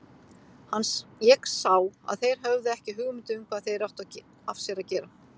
Ég sá að þeir höfðu ekki hugmynd um hvað þeir áttu af sér að gera.